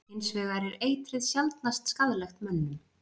Hins vegar er eitrið sjaldnast skaðlegt mönnum.